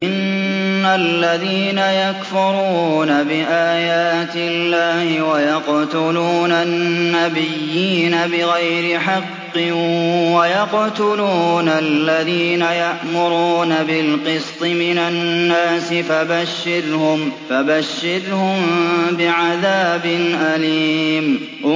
إِنَّ الَّذِينَ يَكْفُرُونَ بِآيَاتِ اللَّهِ وَيَقْتُلُونَ النَّبِيِّينَ بِغَيْرِ حَقٍّ وَيَقْتُلُونَ الَّذِينَ يَأْمُرُونَ بِالْقِسْطِ مِنَ النَّاسِ فَبَشِّرْهُم بِعَذَابٍ أَلِيمٍ